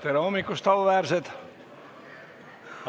Tere hommikust, auväärsed!